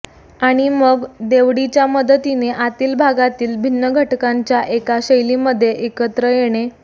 आणि मग देवडीच्या मदतीने आतील भागांतील भिन्न घटकांच्या एका शैलीमध्ये एकत्र येणे